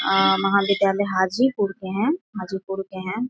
अअअ महाविधालय हाजी पुर के हैं हाजी पुर के हैं।